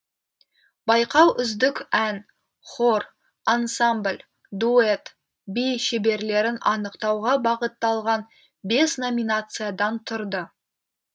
байқау үздік ән хор ансамбль дуэт би шеберлерін анықтауға бағытталған бес номинациядан тұрды